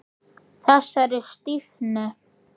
Þessari stífni.